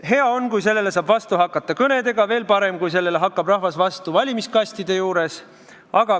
Hea on, kui sellele saab vastu hakata kõnedega, veel parem, kui sellele hakkab rahvas vastu valimiskastide juures.